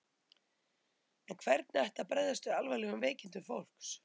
En hvernig ætti að bregðast við alvarlegum veikindum fólks?